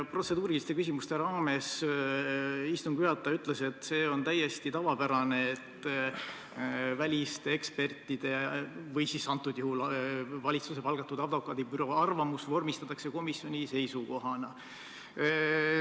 Protseduuriliste küsimuste esitamise ajal istungi juhataja ütles, et on täiesti tavapärane, kui väliste ekspertide või siis antud juhul valitsuse palgatud advokaadibüroo arvamus vormistatakse komisjoni seisukohana.